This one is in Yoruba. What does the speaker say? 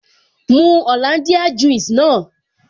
Mu Hollandia juice naa